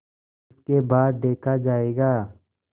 उसके बाद देखा जायगा